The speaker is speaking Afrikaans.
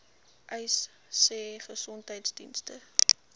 uys sê gesondheidsdienste